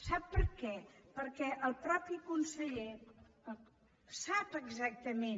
sap per què perquè el mateix conseller sap exactament